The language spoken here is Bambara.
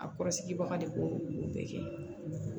A kɔrɔsigibaga de b'o olu bɛɛ kɛ